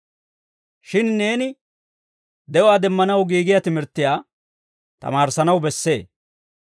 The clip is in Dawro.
Shin neeni de'uwaa demmanaw giigiyaa timirttiyaa tamaarissanaw bessee.